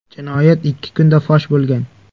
Jinoyat ikki kunda fosh bo‘lgan.